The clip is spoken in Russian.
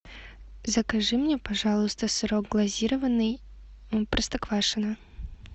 закажи мне пожалуйста сырок глазированный простоквашино